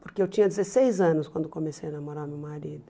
Porque eu tinha dezesseis anos quando comecei a namorar o meu marido.